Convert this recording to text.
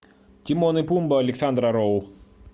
тимон и пумба александра роу